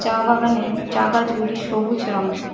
চা বাগানের চা গাছগুলি সবুজ রঙের।